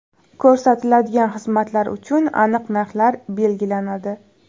Ko‘rsatiladigan xizmatlar uchun aniq narxlar belgilanadi.